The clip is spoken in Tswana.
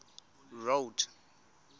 road